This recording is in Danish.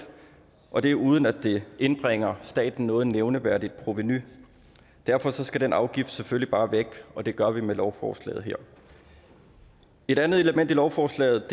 og det er uden at det indbringer staten noget nævneværdigt provenu derfor skal den afgift selvfølgelig bare væk og det gør vi med lovforslaget her et andet element i lovforslaget